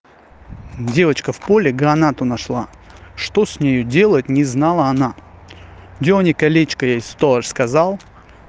девочка в поле гранату нашла что с нею делать не знала она дёрни колечко ей сторож сказал